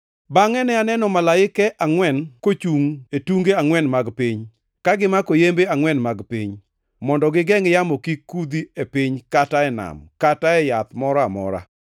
Bangʼe ne aneno malaike angʼwen kochungʼ e tunge angʼwen mag piny, ka gimako yembe angʼwen mag piny, mondo gigengʼ yamo kik kudhi e piny kata e nam kata e yath moro amora.